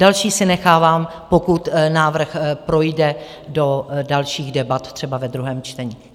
Další si nechávám, pokud návrh projde do dalších debat, třeba ve druhém čtení.